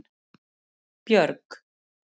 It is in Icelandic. Björg